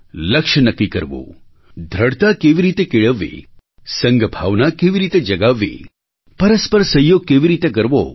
લક્ષ્ય નક્કી કરવું દૃઢતા કેવી રીતે કેળવવી સંઘભાવના કેવી રીતે જગાવવી પરસ્પર સહયોગ કેવી રીતે કરવો